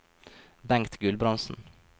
Bengt Gulbrandsen